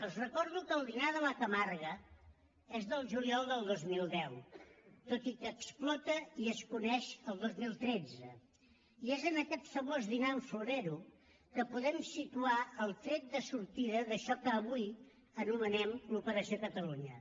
els recordo que el dinar de la camarga és del juliol del dos mil deu tot i que explota i es coneix el dos mil tretze i és en aquest famós dinar amb florero que podem situar el tret de sortida d’això que avui anomenem l’operació catalunya